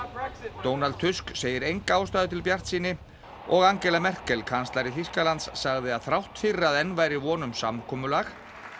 Donald Tusk segir enga ástæðu til bjartsýni og Angela Merkel kanslari Þýskalands sagði að þrátt fyrir að enn væri von um samkomulag